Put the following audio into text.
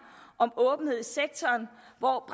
om åbenhed i sektoren og